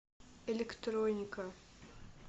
электроника